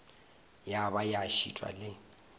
ya ba ya šitwa le